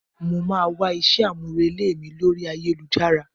Mo máa wá iṣẹ́ àmúrelé mi lóri ayélujára.